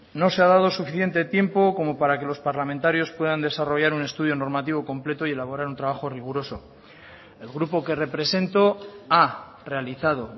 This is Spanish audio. no se ha dado suficiente tiempo como para que los parlamentarios puedan desarrollar un estudio normativo completo y elaborar un trabajo riguroso el grupo que represento ha realizado